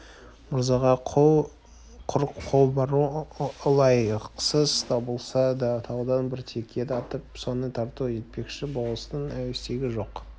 мырзаға құр қол бару ылайықсыз табылса таудан бір теке атып соны тарту етпекші болыстың әуестігі жоқ